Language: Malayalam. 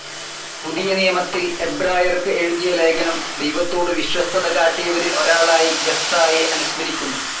പുതിയ നിയമത്തിൽ എബ്രായർക്ക് എഴുതിയ ലേഖനം ദൈവത്തോടു വിശ്വസ്തതകാട്ടിയവരിൽ ഒരാളായി ജഫ്‌തായെ അനുസ്മരിക്കുന്നു.